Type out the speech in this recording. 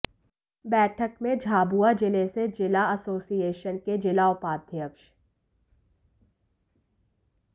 बैठक में झाबुआ जिले से जिला एसोसिएशन के जिला उपाध्यक्ष